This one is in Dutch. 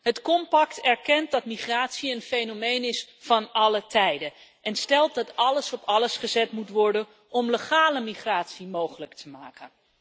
Het pact erkent dat migratie een fenomeen is van alle tijden en stelt dat alles op alles gezet moet worden om legale migratie mogelijk te maken.